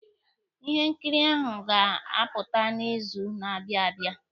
Ihe nkiri ahụ ga-apụta n'izu na-abịa abịa.